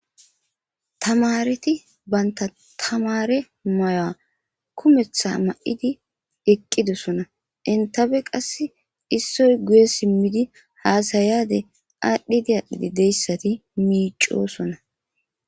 Tamareti banta tamare mayoa kumetha ma7idi eqqidosona intabe qass issoy guye simmidi haasayade aadhdhidi aadhdhidi deyssati miicosona.